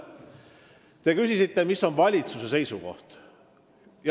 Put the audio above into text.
Te küsisite, mis on valitsuse seisukoht.